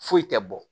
Foyi tɛ bɔ